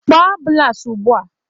Kpọọ ambụlans ugbua!